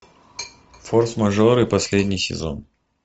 форс мажоры последний сезон